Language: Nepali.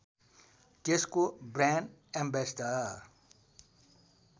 त्यसको ब्रान्ड एम्बेस्डर